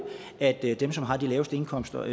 at dem som har de laveste indkomster